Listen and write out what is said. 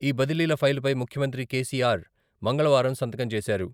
ఈ బదిలీల ఫైలుపై ముఖ్యమంత్రి కేసీఆర్ మంగళవారం సంతకం చేశారు.